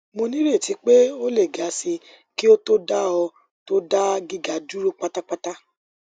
mo nireti pe o le ga si ki o to da o to da giga duro patapata